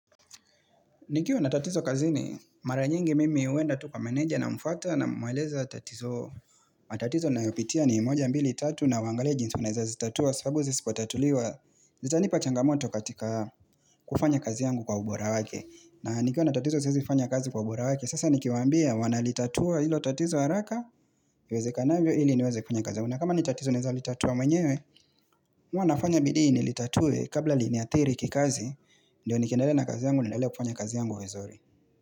Nikiwa natatizo kazi ni mara nyingi mimi uenda tuka meneja na mfata na mwaleza natizo na tatizo ninayopitia ni moja mbili tatu na huangalia jinsii unaneza zitatua sabu zisipotatuliwa zitanipa changamoto katika kufanya kazi yangu kwa ubora wake. Na nikiwa natatizo zizi fanya kazi kwa ubora wake sasa nikiwa ambia wana litatua ilo tatizo haraka iweze kanavyo ili niweze kufanya kazi. Na kama nitatizo naweza litatua mwenyewe huwa nafanya bidii ni litatue kabla liniathiri kikazi ndio nikendale na kazi yangu nilele kufanya kazi yangu vizuri.